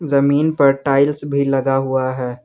जमीन पर टाइल्स भी लगा हुआ है।